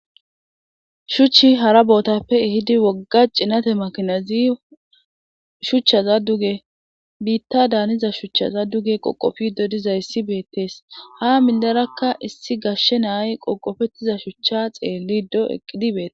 shuchchi hara bootappe ehidi wogga cinate makinazi shuchchaza duge biitta daaniza shuchchaza duge qoqofi dodiza issi beettees ha mindarakka issi gashshe naay qoqofettiza shuchcha xeelli do eqqidibeete